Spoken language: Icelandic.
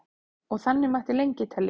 og þannig mætti lengi telja